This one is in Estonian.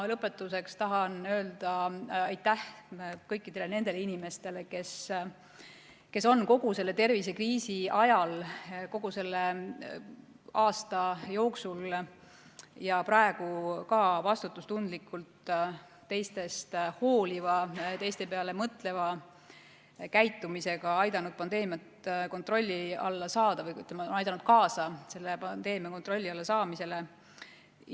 Lõpetuseks tahan ma öelda aitäh kõikidele nendele inimestele, kes on kogu selle tervisekriisi ajal, kogu selle aasta jooksul ja ka praegu vastutustundlikult teistest hooliva, teiste peale mõtleva käitumisega aidanud pandeemiat kontrolli alla saada või aidanud kaasa pandeemia kontrolli alla saamisele.